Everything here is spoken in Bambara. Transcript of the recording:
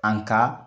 An ka